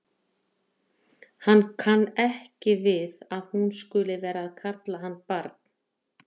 Hann kann ekki við að hún skuli vera að kalla hann barn.